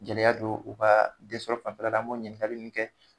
Gɛlɛya don u ka den sɔrɔ fanfɛla la an m'o ɲininkali nun kɛ.